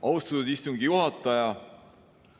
Austatud istungi juhataja!